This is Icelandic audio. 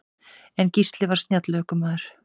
En Gísli var snjall ökumaður.